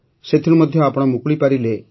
ସେଥିରୁ ମଧ୍ୟ ଆପଣ ମୁକୁଳି ପାରିଲେ